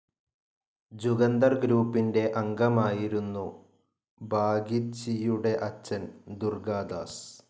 ജുഗന്തർ ഗ്രൂപ്പിന്റെ അംഗമായിരുന്നു ബാഗിച്ചിയുടെ അച്ഛൻ ദുർഗാദാസ്.